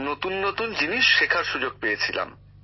নতুন নতুন জিনিস শেখার সুযোগ পেয়েছিলাম